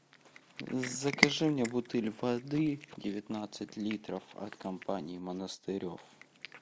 закажи мне бутыль воды девятнадцать литров от компании монастырев